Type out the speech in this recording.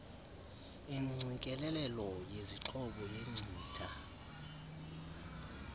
ingqikelelelo yezixhobo yenkcitha